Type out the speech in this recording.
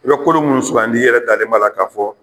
I bɛ kolo munnu sugandi i yɛrɛ dalen b'a la ka fɔ